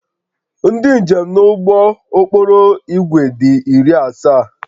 Ndị njem nọ n'ụgbọ okporo ígwè dị iri asaa